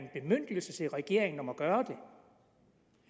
en bemyndigelse til regeringen om at gøre